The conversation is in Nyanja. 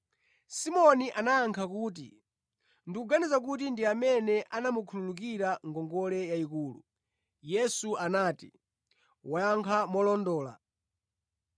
Simoni anayankha kuti, “Ndikuganiza kuti ndi amene anamukhululukira ngongole yayikulu.” Yesu anati, “Wayankha molondola.”